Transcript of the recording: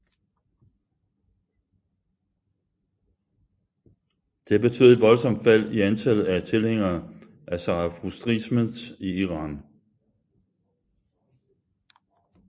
Det betød et voldsomt fald i antallet af tilhængere af zarathustrismen i Iran